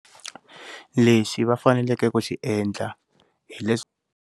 Lexi va faneleke ku xiendla hileswa.